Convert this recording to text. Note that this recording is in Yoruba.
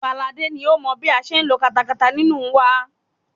Fáladé ni ó mọ bí a ṣe ń lo katakata nínú wa.